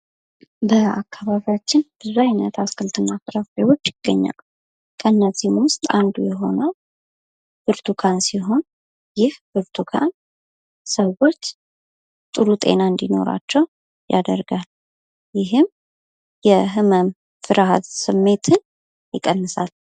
በአካባቢያችን ብዙ አይነት አትክልትና ፍራፍሬዎች ይገኛሉ። ከእነዚህም ውስጥ አንዱ የሆነው ብርቱካን ሲሆን ይህ ብርቱካን ሰወች ጥሩ ጤና እንዲኖራቸው ያደርጋል። ይህም የህመም ፍርሃት ስሜትን ይቀንሳል።